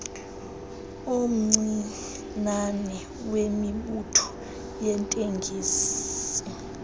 omncinane wemibutho yeetekisi